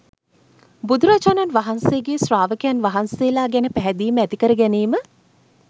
බුදුරජාණන් වහන්සේගේ ශ්‍රාවකයන් වහන්සේලා ගැන පැහැදීම ඇති කරගැනීම